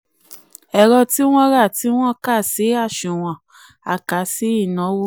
ẹ̀rọ tí ẹ̀rọ tí um wọ́n rá tí wọ́n kà sí um àsunwon a kà sí ìnáwó.